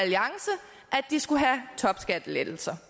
de skulle have topskattelettelser